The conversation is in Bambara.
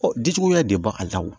dijuguya de bɛ bɔ a la wo